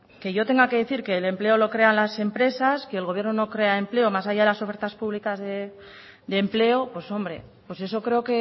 que yo tenga que decir que el empleo lo crean las empresas que el gobierno no crea empleo más allá de las ofertas públicas de empleo pues hombre pues eso creo